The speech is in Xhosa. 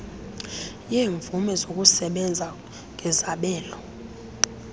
yeemvume zokusebenza ngezabelo